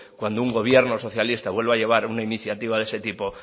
cuando un gobierno socialista vuelva a llevar una iniciativa de ese tipo